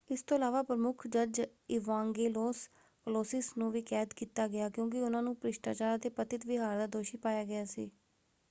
ਇਸ ਤੋਂ ਇਲਾਵਾ ਪ੍ਰਮੁੱਖ ਜੱਜ ਇਵਾਂਗੇਲੋਸ ਕਲੌਸਿਸ ਨੂੰ ਵੀ ਕੈਦ ਕੀਤਾ ਗਿਆ ਕਿਉਂਕਿ ਉਹਨਾਂ ਨੂੰ ਭ੍ਰਿਸ਼ਟਾਚਾਰ ਅਤੇ ਪਤਿਤ ਵਿਹਾਰ ਦਾ ਦੋਸ਼ੀ ਪਾਇਆ ਗਿਆ ਸੀ।